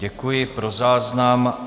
Děkuji, pro záznam.